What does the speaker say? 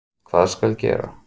Hvað skal gera?